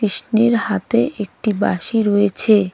কৃষ্ণের হাতে একটি বাঁশি রয়েছে.